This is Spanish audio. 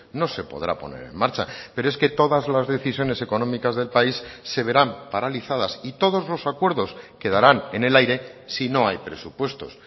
no se podrá poner en marcha pero es que todas las decisiones económicas del país se verán paralizadas y todos los acuerdos quedarán en el aire si no hay presupuestos